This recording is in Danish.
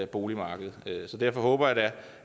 boligmarkedet så derfor håber jeg da